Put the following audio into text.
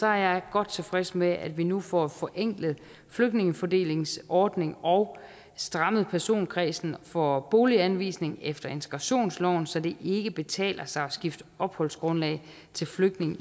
er jeg godt tilfreds med at vi nu får forenklet flygtningefordelingsordningen og strammet personkredsen for boliganvisning efter integrationsloven så det ikke betaler sig at skifte opholdsgrundlag til flygtning